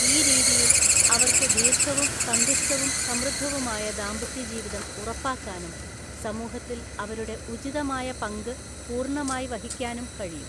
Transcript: ഈ രീതിയിൽ, അവർക്ക് ദീർഘവും സന്തുഷ്ടവും സമൃദ്ധവുമായ ദാമ്പത്യജീവിതം ഉറപ്പാക്കാനും സമൂഹത്തിൽ അവരുടെ ഉചിതമായ പങ്ക് പൂർണ്ണമായി വഹിക്കാനും കഴിയും.